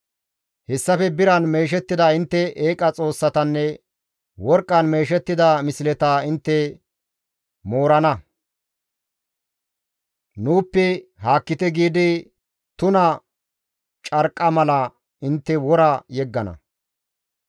Hessafe biran meeshettida intte eeqa xoossatanne worqqan meeshettida misleta intte moorana; «Nuuppe haakkite» giidi tuna carqqa mala intte wora yeggana.